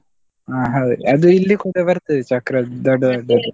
ಅಹ್ ಹೌದ್ ಅದು ಇಲ್ಲಿ ಕೂಡ ಬರ್ತದೆ .